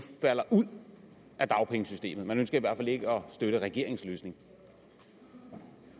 falder ud af dagpengesystemet man ønsker i hvert fald ikke at støtte regeringens løsning